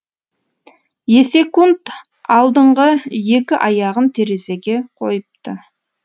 есек алдыңғы екі аяғын терезеге қойыпты